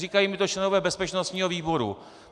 Říkají mi to členové bezpečnostního výboru.